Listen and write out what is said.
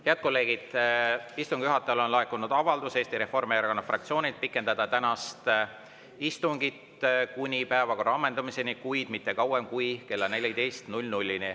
Head kolleegid, istungi juhatajale on laekunud avaldus Eesti Reformierakonna fraktsioonilt pikendada tänast istungit kuni päevakorra ammendumiseni, kuid mitte kauem kui kella 14‑ni.